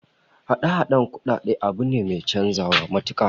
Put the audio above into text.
Hada-hadan kudade abu ne mai chanzawa matuka